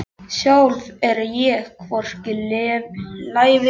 Sjálf er ég hvorki lævís né lipur.